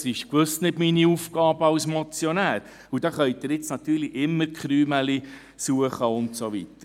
Das ist gewiss nicht meine Aufgabe als Motionär, und da können Sie nun natürlich immer Krümelchen suchen und so weiter.